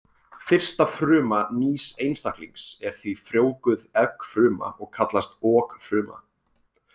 Fyrsta fruma nýs einstaklings er því frjóvguð eggfruma og kallast okfruma.